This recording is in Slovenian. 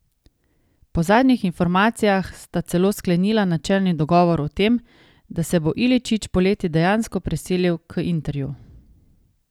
Po zadnjih informacijah sta celo sklenila načelni dogovor o tem, da se bo Iličić poleti dejansko preselil k Interju.